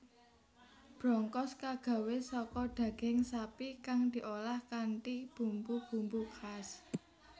Brongkos kagawé saka daging sapi kang diolah kanthi bumbu bumbu khas